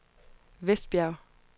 Vestbjerg